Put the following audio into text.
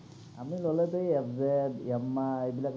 আমি ল’লেটো FZ, Yamaha এইবিলাক